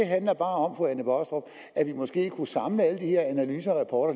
handler om at vi måske kunne samle alle de her analyser og